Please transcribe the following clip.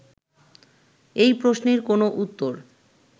এই প্রশ্নের কোনো উত্তর